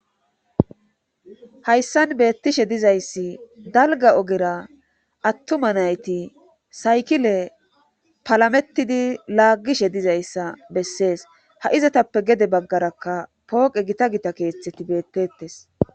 Hayssan beettishe dizayssi dalga ogera attuma nayti saykile palamettidi laaggishe dizayssa bessees ha'izatappe gede baggarakka pooqe gita gita keeththeti beettettes.